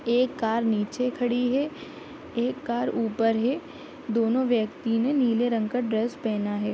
एक कार नीचे खड़ी है एक कार ऊपर है दोनों व्यक्ति ने नीले रंग का ड्रेस पेहना है।